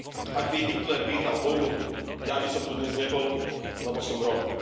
Ak by Hitler vyhral vojnu, ja by som tu dnes nebol, lebo som Róm.